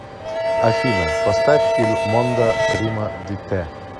афина поставь ил мондо прима ди тэ